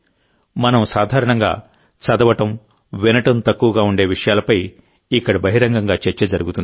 మనం సాధారణంగా చదవడం వినడం తక్కువగా ఉండే విషయాలపై ఇక్కడ బహిరంగంగా చర్చ జరుగుతుంది